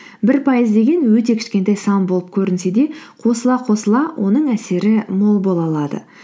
бір пайыз деген өте кішкентай сан болып көрінсе де қосыла қосыла оның әсері мол бола алады